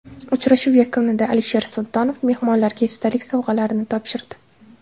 Uchrashuv yakunida Alisher Sultonov mehmonlarga esdalik sovg‘alarini topshirdi.